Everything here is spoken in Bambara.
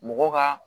Mɔgɔ ka